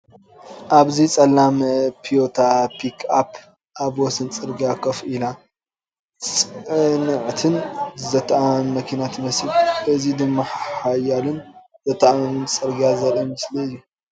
ኣብዚ፡ ጸላም ቶዮታ ፒክኣፕ ኣብ ወሰን ጽርግያ ኮፍ ኢላ፡ ጽንዕትን ዘተኣማምንን መኪና ትመስል። እዚ ድማ ሓያልን ዘተኣማምንን ጽርግያ ዘርኢ ምስሊ እዩ።